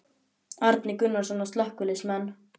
Árni Gunnarsson: Á slökkviliðsmenn?